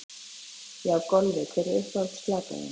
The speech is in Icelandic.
Já Golfi Hver er uppáhalds platan þín?